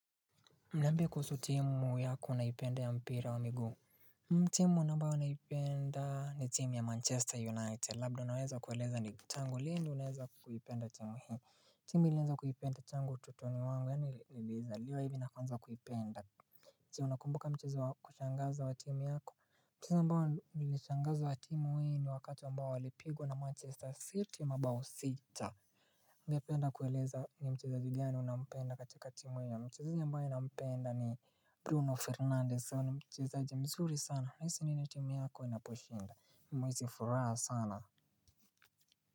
Niambie kuhusu timu yako unaipenda ya mpira wa miguu. Timu na ambayo naipenda ni timu ya Manchester United. Labda unaweza kueleza ni tangu lini unaweza kuipenda timu hii. Timu nilianza kuipenda tangu utotoni wangu. Yani nilizaliwa hivi nakuanza kuipenda. So unakumbuka mchezo wakushangaza wa timu yako. Mchezo ambao nimeshangaza wa timu hii ni wakati ambao walipigwa na Manchester City mabao sita. Ungependa kueleza ni mchezaji gani unampenda katika timu hiyo mchezahi ambaye napenda. Bruno Fernandez huyu ni mchezaji mzuri sana unahisi nini timu yako inaposhinda mimi huhisi furaha sana.